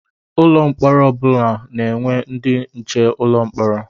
Ụlọ mkpọrọ ọ bụla na-enwe ndị nche ụlọ mkpọrọ.